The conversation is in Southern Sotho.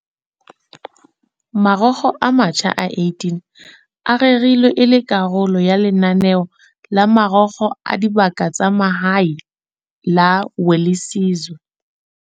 Marokgo a matjha a 18 a rerilwe e le karolo ya lenaneo la Marokgo a Dibaka tsa Mahae la Welisizwe.